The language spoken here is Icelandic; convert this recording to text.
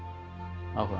áhuga